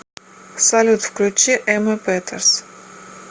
салют включи эмма петерс